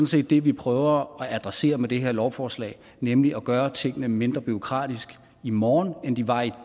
set det vi prøver at adressere med det her lovforslag nemlig at gøre tingene mindre bureaukratisk i morgen end de var i